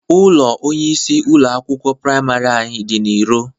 Ụlọ onyeisi ụlọ akwụkwọ praimarị anyị dị na iro.